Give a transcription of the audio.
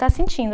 Está sentindo.